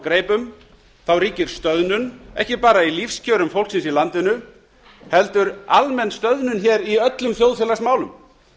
úr greipum ríkir stöðnun ekki bara í lífskjörum fólksins í landinu heldur almenn stöðnun í öllum þjóðfélagsmálum